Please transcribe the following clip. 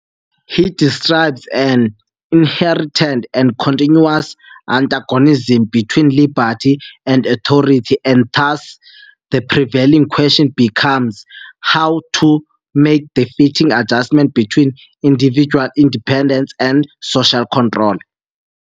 he describes an inherent and continuous antagonism between liberty and authority and thus, the prevailing question becomes "how to make the fitting adjustment between individual independence and social control".